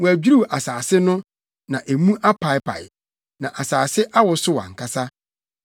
Wɔadwiriw asase no na emu apaapae, na asase awosow ankasa.